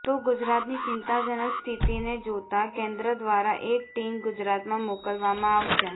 તો ગુજરાતની ચિંતાજનક સ્થિતિને જોતાં કેન્દ્ર દ્વારા એક ટીમ ગુજરાતમાં મોકલવામાં આવશે